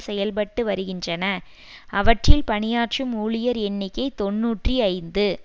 செயல்பட்டு வருகின்றன அவற்றில் பணியாற்றும் ஊழியர் எண்ணிக்கை தொன்னூற்றி ஐந்து